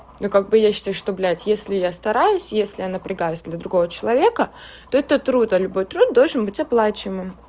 ну как бы я считаю что блядь если я стараюсь если я напрягаюсь для другого человека то это труд а любой труд должен быть оплачиваемым